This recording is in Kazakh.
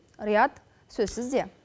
риат сөз сізде